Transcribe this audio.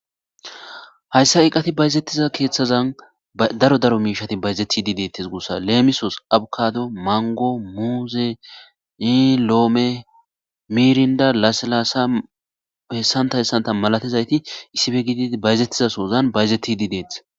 Hayssa iqqati bayzettiza keeththazan daro daro miishati bayzeti di deettes. gussa leemisos abkado mango muuze ni loome miirinda laselaasa hessantayssanta malatizayti issibe gidi bayzettiza sozan bayzetidi deetees.